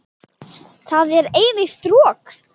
Það er eilíft rok.